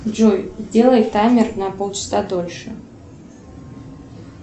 джой сделай таймер на полчаса дольше